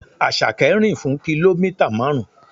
Àṣàkẹ́ rìn fún kìlómítà marun.